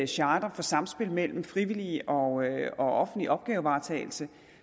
charter for samspil mellem frivillig og offentlig opgavevaretagelse